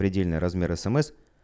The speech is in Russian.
предельный размер смс